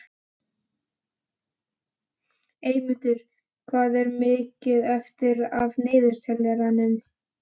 Eymundur, hvað er mikið eftir af niðurteljaranum?